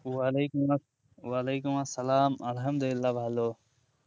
উ ওয়ালাইকুম আস ওয়ালাইকুম আসসালাম আলহামদুলিল্লাহ ভালো